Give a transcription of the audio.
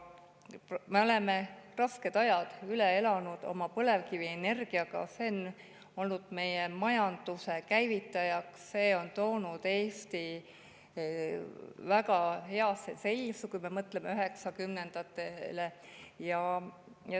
Me oleme rasked ajad üle elanud oma põlevkivienergia abil, see on olnud meie majanduse käivitaja, selle abil on Eesti jõudnud väga heasse seisu, kui me mõtleme üheksakümnendatele.